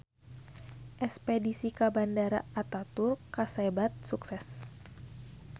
Espedisi ka Bandara Ataturk kasebat sukses